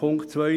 Punkt 2: